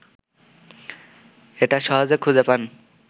এটা সহজেখুঁজেপান